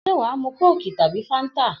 S̩é wàá mu kóòkì tàbí fáńtà?